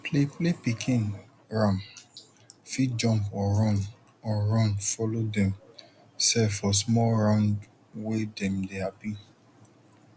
play play pikin ram fit jump or run or run follow dem sef for small round wen dem dey happy